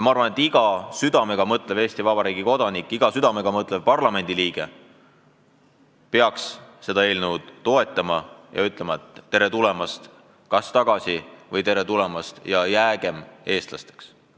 Ma arvan, et iga südamega mõtlev Eesti Vabariigi kodanik, iga südamega mõtlev parlamendiliige peaks seda eelnõu toetama ja ütlema oma inimestele: "Tere tulemast tagasi!" või "Tere tulemast ja jäägem eestlasteks!